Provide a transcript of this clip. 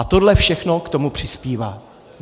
A tohle všechno k tomu přispívá.